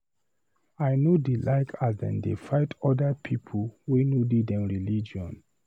I no dey like as dem dey fight other pipu wey no dey for dem religion.